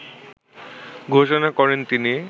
ঘোষণা করেন তিনি।